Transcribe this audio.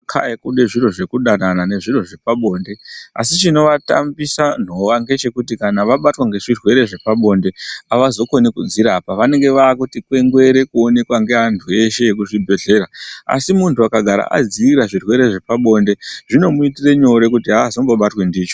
Kai kune zviro zvekudanana nezviro zvepabonde asi chinovatambisa nhova ngechekuti kana vabatwa nezvirwere zvepabonde avazokoni kudzirapa vanenge vaakuti kwengwere kuonekwa ngevandu veshe vekuzvibhedhlera asi munthu akagara adzivirira zvirwere zvepabonde zvinomuitira nyore kuti aazombobatwi ndicho.